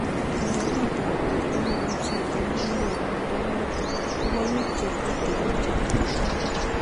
Konoret ab borto nebo chito nekanyor mnyendo notok kobo bik chetutikin chetubjo.